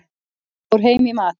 Fór heim í mat.